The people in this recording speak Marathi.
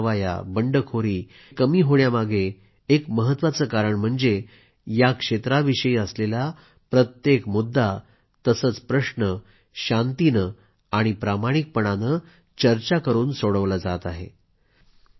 हिंसक कारवाया बंडखोरी कमी होण्यामागे एक महत्वाचे कारण म्हणजे या क्षेत्राविषयी असलेला प्रत्येक मुद्दा तसंच प्रश्न शांतीने आणि प्रामाणिकपणाने चर्चा करून सोडवला जात आहे